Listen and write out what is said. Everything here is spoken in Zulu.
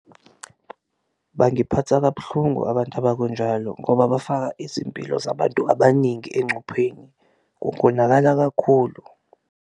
Bangiphatha kabuhlungu abantu abakunjalo ngoba bafaka izimpilo zabantu abaningi encupheni kungonakala kakhulu.